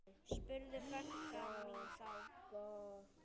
spurði frænka mín þá.